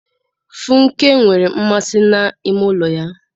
Funke nwere mmasị na ime ụlọ ya.